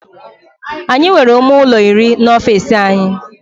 Anyị nwere ime ụlọ iri n'ofisi anyị